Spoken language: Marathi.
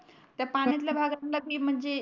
त्या पाण्यातल्या भागात तिल म्हणजे